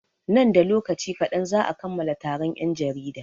Nan da lokaci kaɗan za'a kammala taron 'yan jarida.